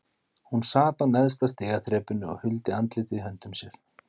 Hún sat á neðsta stigaþrepinu og huldi andlitið í höndum sér.